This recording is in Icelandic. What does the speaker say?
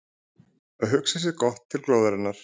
Að hugsa sér gott til glóðarinnar